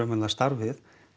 starfið